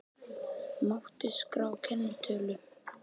Mátti skrá kennitölu